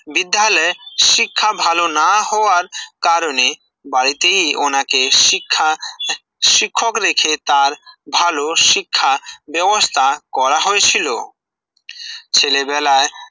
বিদ্যালয় শিক্ষা ভালো না হওয়ার কারণে বাড়িতেই ওনাকে শিক্ষা শিক্ষক রেখে তার ভালো শিক্ষা ব্যবস্থা করা হয়েছিল ছেলেবেলায়